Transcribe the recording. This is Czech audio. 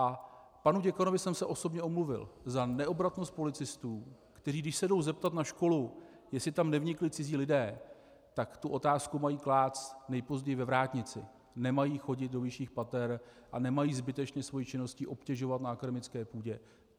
A panu děkanovi jsem se osobně omluvil za neobratnost policistů, kteří, když se jdou zeptat na školu, jestli tam nevnikli cizí lidé, tak tu otázku mají klást nejpozději ve vrátnici, nemají chodit do vyšších pater a nemají zbytečně svou činností obtěžovat na akademické půdě.